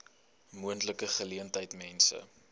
moontlike geleentheid mense